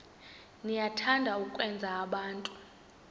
niyathanda ukwenza abantu